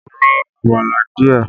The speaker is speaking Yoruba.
Ro àmàlà díẹ̀!